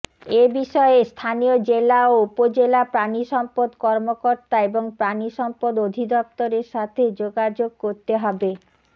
এ বিষয়ে স্থানীয় জেলা ও উপজেলা প্রাণিসম্পদ কর্মকর্তা এবং প্রাণিসম্পদ অধিদপ্তরের সাথে যোগাযোগ করতে হবে